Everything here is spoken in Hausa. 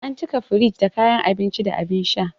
An cika firij da kayan abinci da abin sha.